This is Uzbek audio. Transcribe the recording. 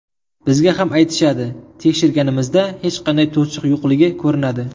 Bizga ham aytishadi, tekshirganimizda hech qanday to‘siq yo‘qligi ko‘rinadi.